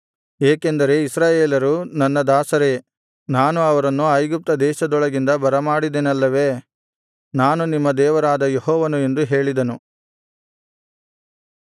ಏಕೆಂದರೆ ಇಸ್ರಾಯೇಲರು ನನ್ನ ದಾಸರೇ ನಾನು ಅವರನ್ನು ಐಗುಪ್ತದೇಶದೊಳಗಿಂದ ಬರಮಾಡಿದೆನಲ್ಲವೇ ನಾನು ನಿಮ್ಮ ದೇವರಾದ ಯೆಹೋವನು ಎಂದು ಹೇಳಿದನು